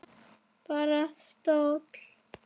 Bara stóll!